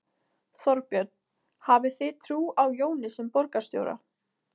Þorbjörn: Hafið þið trú á Jóni sem borgarstjóra?